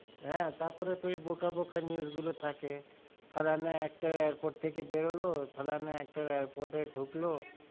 হেঁ, তার পরে তো ওই বোকা বোকা news গুলো থাকে, ফ্যালনা actor airport থেকে বেরোলো, ফ্যালনা actor airport এ ডুকলো,